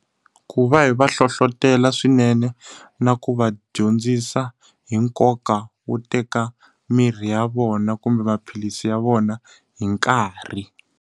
Ku va hi va hlohletelo swinene, na ku va dyondzisa hi nkoka wo teka mirhi ya vona kumbe maphilisi ya vona hi nkarhi.